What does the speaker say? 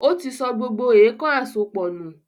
Ó ti sọ gbogbo “èèkàn àsopọ̀” nù.